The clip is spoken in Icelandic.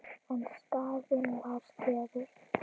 En skaðinn var skeður.